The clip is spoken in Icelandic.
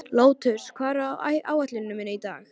Lótus, hvað er á áætluninni minni í dag?